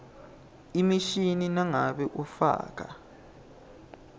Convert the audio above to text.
emishini nangabe ufaka